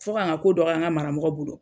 Fɔ ka n ka ko dɔgɔya n karamɔgɔ bolo.